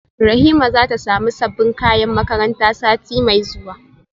Rahima zata samu sabbin kayan makaranta sati mai zuwa